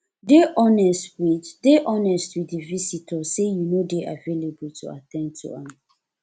dey honest with dey honest with di visitor sey you no dey available to at ten d to am